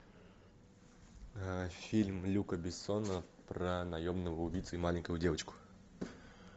фильм люка бессона про наемного убийцу и маленькую девочку